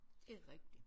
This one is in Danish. Det er rigtigt